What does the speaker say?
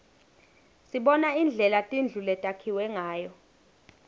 sibona indlela tindlu letakhiwe ngayo